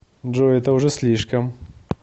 джой это уже слишком